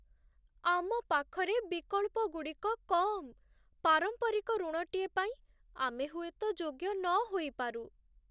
ଆମ ପାଖରେ ବିକଳ୍ପଗୁଡ଼ିକ କମ୍! ପାରମ୍ପରିକ ଋଣଟିଏ ପାଇଁ ଆମେ ହୁଏତ ଯୋଗ୍ୟ ନ ହୋଇପାରୁ।